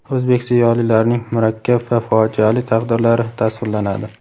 o‘zbek ziyolilarining murakkab va fojiali taqdirlari tasvirlanadi.